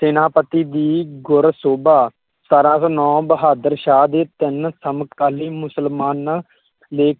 ਸੈਨਾਪਤੀ ਦੀ ਗੁਰ ਸੋਭਾ ਸਤਾਰਾਂ ਸੌ ਨੋ ਬਹਾਦਰ ਸ਼ਾਹ ਦੇ ਤਿੰਨ ਸਮਕਾਲੀ ਮੁਸਲਮਾਨ